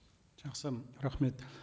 жақсы рахмет